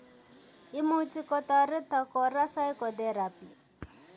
Imuchi kotoret kora psychotherapy